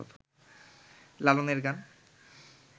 লালনের গান